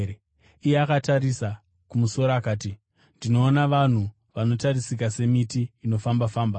Iye akatarisa kumusoro akati, “Ndinoona vanhu; vanotarisika semiti inofamba-famba.”